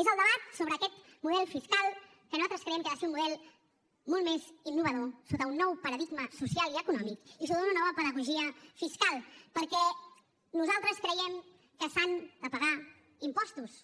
és el debat sobre aquest model fiscal que nosaltres creiem que ha de ser un model molt més innovador sota un nou paradigma social i econòmic i sota una nova pedagogia fiscal perquè nosaltres creiem que s’han de pagar impostos